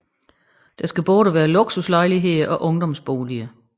Der skal både være luksuslejligheder og ungdomsboliger